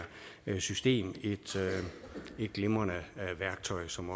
system et glimrende værktøj som